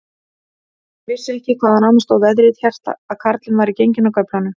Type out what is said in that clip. Ég vissi ekki, hvaðan á mig stóð veðrið, hélt að karlinn væri genginn af göflunum.